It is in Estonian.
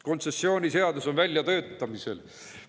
Kontsessiooniseadus on väljatöötamisel.